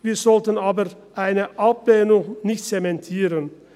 Wir sollten aber eine Ablehnung nicht zementieren.